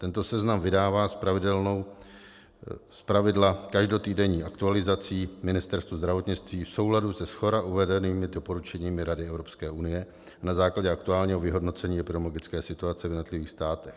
Tento seznam vydává, zpravidla každotýdenní aktualizací, Ministerstvo zdravotnictví v souladu se shora uvedenými doporučeními Rady EU na základě aktuálního vyhodnocení epidemiologické situace v jednotlivých státech.